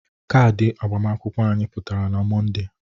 Kadị agbamakwụkwọ anyị pụtara na Mọnde.